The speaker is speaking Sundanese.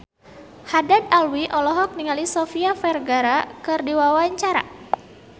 Haddad Alwi olohok ningali Sofia Vergara keur diwawancara